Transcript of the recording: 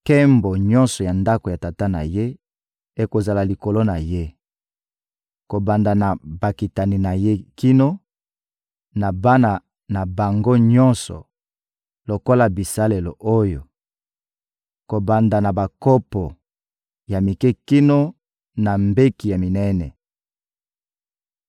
Nkembo nyonso ya ndako ya tata na ye ekozala likolo na ye: kobanda na bakitani na ye kino na bana na bango nyonso, lokola bisalelo oyo: kobanda na bakopo ya mike kino na mbeki ya minene.